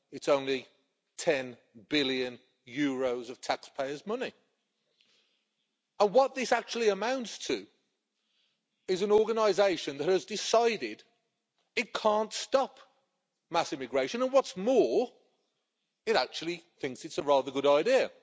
it's only EUR 10 billion of taxpayers' money. What this actually amounts to is an organisation that has decided it can't stop mass immigration and, what's more, it actually thinks it's a rather good idea.